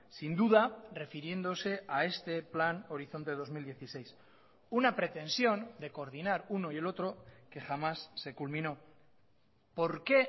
sin duda refiriéndose a este plan horizonte dos mil dieciséis una pretensión de coordinar uno y el otro que jamás se culminó por qué